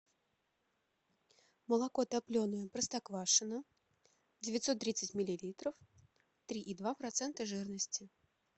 молоко топленое простоквашино девятьсот тридцать миллилитров три и два процента жирности